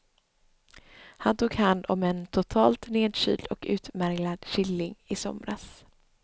Han tog hand om en totalt nedkyld och utmärglad killing i somras.